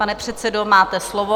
Pane předsedo, máte slovo.